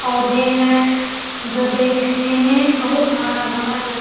पौधे हैं जो देखने में बहुत हरा-भरा लग --